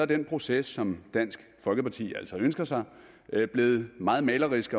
den proces som dansk folkeparti altså ønsker sig blevet meget malerisk